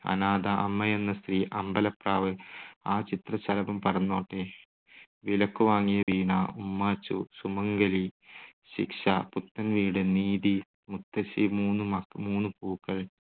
അനാഥ, അമ്മയെന്ന സ്ത്രീ, അമ്പലപ്രാവ്, ആ ചിത്രശലഭം പറന്നോട്ടെ, വിലയ്ക്കുവാങ്ങിയ വീണ, ഉമ്മാച്ചു, സുമംഗലി, ശിക്ഷ, പുത്തൻ വീട്, നീതി, മുത്തശ്ശി, മൂന്നു മ മൂന്നു പൂക്കൾ,